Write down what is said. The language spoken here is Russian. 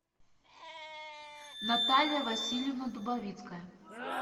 наталья васильевна дубовицкая